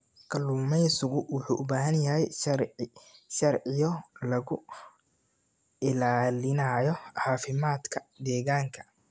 Kalluumeysigu wuxuu u baahan yahay sharciyo lagu ilaalinayo caafimaadka deegaanka.